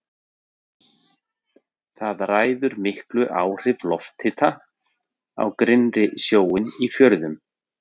Þar ræður miklu áhrif lofthita á grynnri sjóinn í fjörðum.